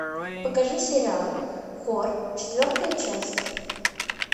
покажи сериал хор четвертая часть